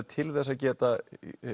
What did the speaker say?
til þess að geta